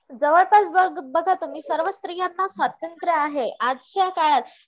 जवळपास बघा तुम्ही सर्व स्त्रियांना स्वातंत्र आहे, आजच्या काळात